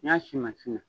N'i y'a si na